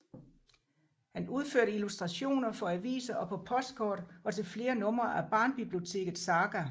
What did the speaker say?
Han udførte illustrationer for aviser og på postkort og til flere numre af Barnbiblioteket Saga